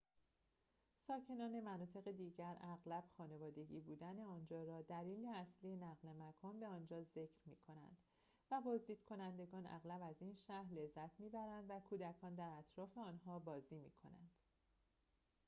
ساکنان مناطق دیگر اغلب خانوادگی بودن آنجا را دلیل اصلی نقل مکان به آنجا ذکر می کنند و بازدیدکنندگان اغلب از این شهر لذت می‌برند و کودکان در اطراف آنها بازی می‌کنند